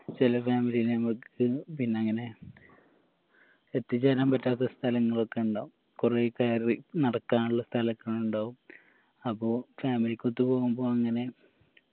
ചെല family നെ മ്മക്ക് പിന്നെങ്ങനെ എത്തിച്ചേരാൻ പറ്റാത്ത സ്ഥലങ്ങളൊക്കെ ഇണ്ടാവും കൊറേ കയറി നടക്കാനുള്ള സ്ഥലക്കെ ഇണ്ടാവും അപ്പൊ family ക്കൊത്ത് പോകുമ്പോ അങ്ങനെ